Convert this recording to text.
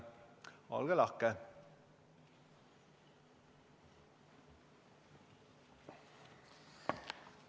Olge lahke!